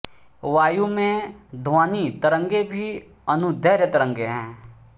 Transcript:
वायु में ध्वनि तरंगें भी अनुदैर्घ्य तरंगें हैं